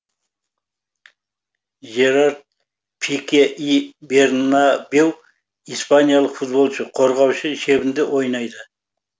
жерард пике и бернабеу испаниялық футболшы қорғаушы шебінде ойнайды